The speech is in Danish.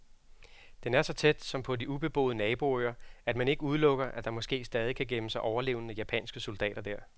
Den er så tæt, som på de ubeboede naboøer, at man ikke udelukker, at der måske stadig kan gemme sig overlevende japanske soldater der.